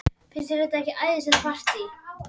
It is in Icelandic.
Finnst þér þetta ekki æðislegt partí?